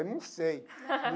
Eu nem sei.